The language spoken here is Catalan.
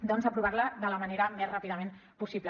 doncs aprovar la de la manera més ràpidament possible